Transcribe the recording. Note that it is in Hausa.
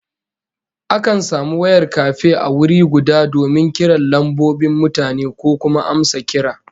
Akan samu wayar kafe a wuri guda donin kiran lambobin mutane ko kuma amsa kira